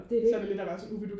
det er det